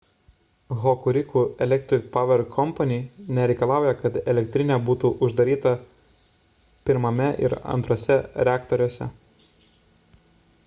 hokuriku electric power co nereikalauja kad elektrinė būtų uždaryta 1 ir 2 reaktoriuose